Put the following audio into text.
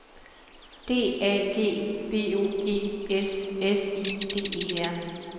D A G B O G S S I D E R